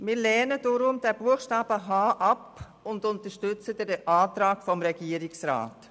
Wir lehnen deswegen diesen Buchstaben h ab und unterstützen den Antrag des Regierungsrats.